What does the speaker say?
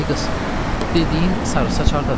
Ay qız, dediyin sarı saç hardadır?